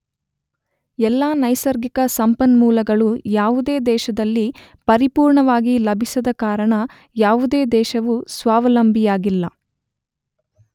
ಎಲ್ಲಾ ನೈಸರ್ಗಿಕ ಸಂಪನ್ಮೂಲಗಳು ಯಾವುದೇ ದೇಶದಲ್ಲಿ ಪರಿಪೂರ್ಣವಾಗಿ ಲಭಿಸದ ಕಾರಣ ಯಾವುದೇ ದೇಶವೂ ಸ್ವಾವಲಂಬಿಯಾಗಿಲ್ಲ.